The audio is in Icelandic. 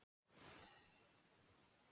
Nú hefur leikurinn breyst